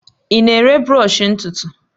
Ị na-ere brọsh ntutu?